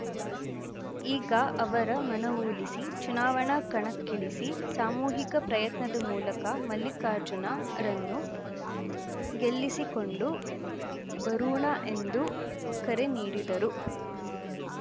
ಈಗ ಅವರ ಮನವೊಲಿಸಿ ಚುನಾವಣಾ ಕಣಕ್ಕಿಳಿಸಿ ಸಾಮೂಹಿಕ ಪ್ರಯತ್ನದ ಮೂಲಕ ಮಲ್ಲಿಕಾರ್ಜುನರನ್ನು ಗೆಲ್ಲಿಸಿಕೊಂಡು ಬರೋಣ ಎಂದು ಕರೆ ನೀಡಿದರು